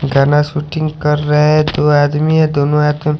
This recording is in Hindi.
गाना शूटिंग कर रहे हैं दो आदमी है दोनों हाथ--